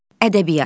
Ədəbiyyat.